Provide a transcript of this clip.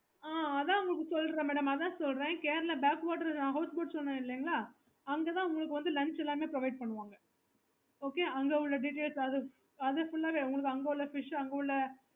okay